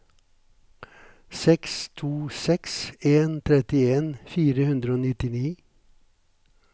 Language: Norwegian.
seks to seks en trettien fire hundre og nittini